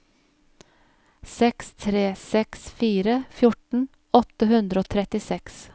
seks tre seks fire fjorten åtte hundre og trettiseks